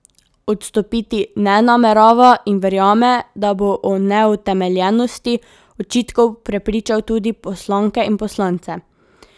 Odstopiti ne namerava in verjame, da bo o neutemeljenosti očitkov prepričal tudi poslanke in poslance.